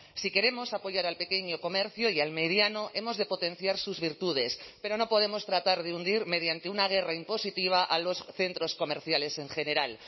si queremos apoyar al pequeño comercio y al mediano hemos de potenciar sus virtudes pero no podemos tratar de hundir mediante una guerra impositiva a los centros comerciales en general